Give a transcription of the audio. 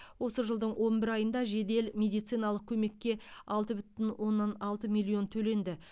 осы жылдың он бір айында жедел медициналық көмекке алты бүтін оннан алты миллион төленді